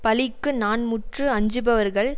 பழிக்கு நான்முற்று அஞ்சுபவர்கள்